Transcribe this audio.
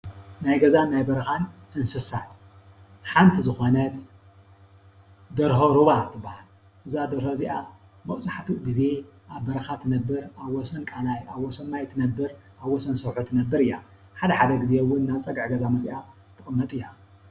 ናይ ገዛን በረኻን እንስሳ ሓንቲ ዝኾነት ደርሆ ሩባ ትባሃል። እዛ ደሆ እዚኣ መብዛሕተኡ ግዘ ኣብ በረኻ ትነብር ኣብ ወሰን ቃላይ ኣብ ወሰን ማይ ትነብር ኣብ ወሰን ሰዉሒ ትነብር እያ። ሓዳ ሓደ ግዘ እውን ናብ ፀግዒ ገዛ መፅያ ትቅመጥ እያ።